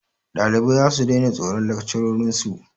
Ɗalibai zasu daina tsoron lakcarorin su.